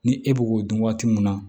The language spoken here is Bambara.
Ni e b'o k'o dun waati mun na